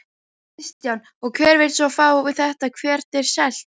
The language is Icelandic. Kristján: Og hver vill svo fá þetta, hvert er selt?